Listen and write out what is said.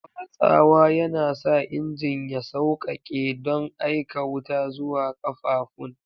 Watsawa yana sa injin ya sauƙaƙe don aika wuta zuwa ƙafafun.